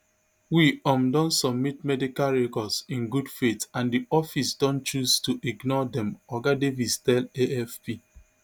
we um don submit medical records in good faith and di office don choose to ignore dem oga davies tell afp